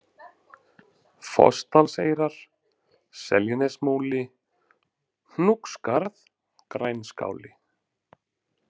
Fossdalseyrar, Seljanesmúli, Hnúksskarð, Grænskáli